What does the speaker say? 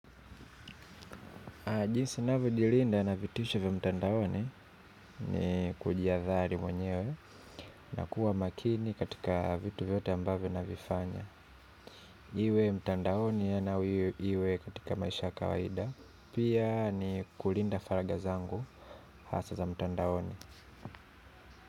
Jinsi ninavyo jilinda na vitisho vya mtandaon ni kujiadhari mwenyewe na kuwa makini katika vitu vyote ambavyo navifanya. Iwe mtandaoni au iwe katika maisha kawaida. Pia ni kulinda faragha zangu hasa za mtandaoni.